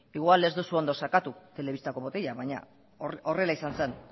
igual ez duzu ondo sakatu telebistak botoiak baina horrela izan zen